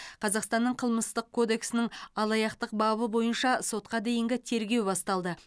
қазақстанның қылмыстық кодексінің алаяқтық бабы бойынша сотқа дейінгі тергеу басталды